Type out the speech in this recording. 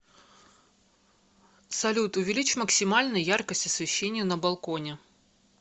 салют увеличь максимально яркость освещения на балконе